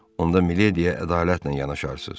Onda milediyə ədalətlə yanaşarsız.